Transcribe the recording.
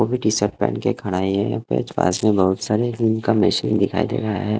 वो भी T shirt पहन के खड़ा ही है यहाँ पास में बहुत सारे जिम का मशीन दिखाई दे रहा है।